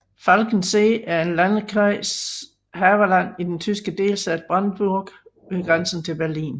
Falkensee er en by i landkreis Havelland i den tyske delstat Brandenburg ved grænsen til Berlin